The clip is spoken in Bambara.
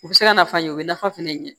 U bɛ se ka nafa ɲɛ o bɛ nafa fɛnɛ ɲɛn